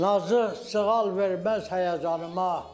Nazıq sığal verməz həyəcanıma.